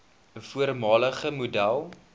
voormalige model